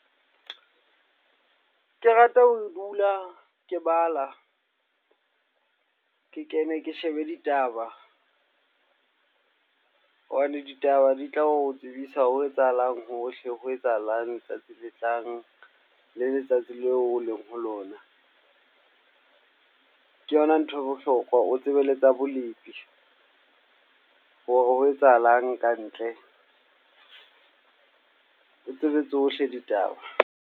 Ke rata ho dula ke bala, ke kene ke shebe ditaba hobane ditaba di tla o tsebisa ho etsahalang hohle. Ho etsahalang letsatsi le tlang le letsatsi leo o leng ho lona, ke yona nthwe bohlokwa o tsebe le tsa bolepi hore ho etsahalang ka ntle o tsebe tsohle ditaba.